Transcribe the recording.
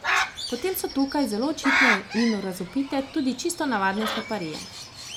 Potem so tukaj zelo očitne in razvpite tudi čisto navadne sleparije.